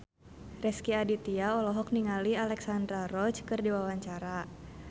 Rezky Aditya olohok ningali Alexandra Roach keur diwawancara